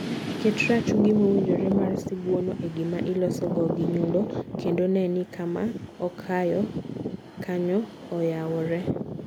ket rachungi mowinjore mar sibuono e gima ilosogo gi nyundo kendo ne ni kama okalo kanyo oyawore.